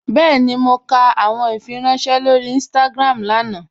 Bẹ́ẹ̀ni, mọ̀ kà awọn ìfírànṣẹ̀ lórí Instagram lánà.